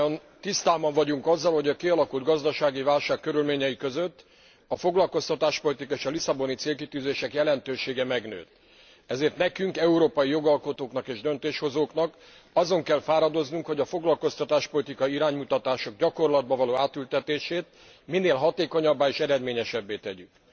Mindnyájan tisztában vagyunk azzal, hogy a kialakult gazdasági válság körülményei között a foglalkoztatáspolitikai és a lisszaboni célkitűzések jelentősége megnőtt, ezért nekünk, európai jogalkotóknak és döntéshozóknak azon kell fáradoznunk, hogy a foglalkoztatáspolitikai iránymutatások gyakorlatba való átültetését minél hatékonyabbá és eredményesebbé tegyük.